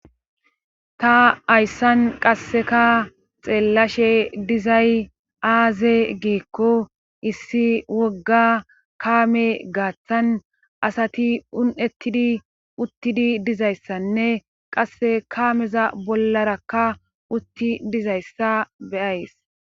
ta ayssan qasseka xeellashe dizay aaze giikko issi wogga kaame gaaththan asati un7ettidi uttidi dizayssanne qasse kaameza bollarakka utti dizayssa beyays